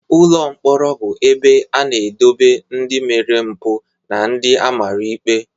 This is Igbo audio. Ụlọ mkpọrọ bu ebe a na edobe ndi mere mpu na ndi amara ikpe.